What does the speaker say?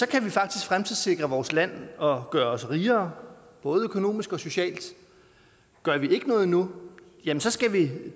kan vi faktisk fremtidssikre vores land og gøre os rigere både økonomisk og socialt gør vi ikke noget nu ja så skal vi